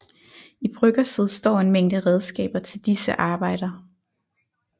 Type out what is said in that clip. I bryggerset står en mængde redskaber til disse arbejder